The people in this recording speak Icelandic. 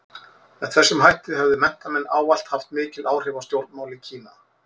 Með þessum hætti höfðu menntamenn ávallt mikil áhrif á stjórnmál í Kína.